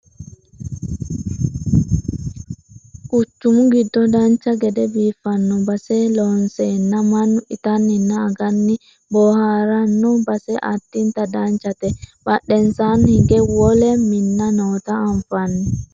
quchumu giddo dancha gede biiffanno base loonseenna mannu itanninna aganni boohaaranno base addinta danchate badhensaanni hige wole minna noota anfanni